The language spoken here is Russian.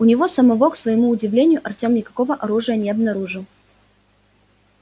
у него самого к своему удивлению артем никакого оружия не обнаружил